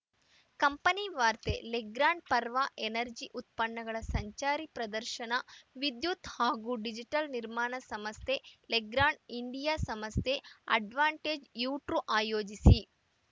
company ವಾರ್ತೆ Legrand power energy ಉತ್ಪನ್ನಗಳ ಸಂಚಾರಿ ಪ್ರದರ್ಶನ ವಿದ್ಯುತ್‌ ಹಾಗೂ ಡಿಜಿಟಲ್‌ ನಿರ್ಮಾಣ ಸಂಸ್ಥೆ ಲೆಗ್ರಾಂಡ್‌ ಇಂಡಿಯಾ ಸಂಸ್ಥೆ ಅಡ್ವಾಂಟೇಜ್‌ ಯು ಟೂರ್‌ ಆಯೋಜಿಸಿ